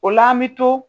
O la an bi to